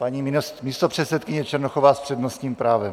Paní místopředsedkyně Černochová s přednostním právem.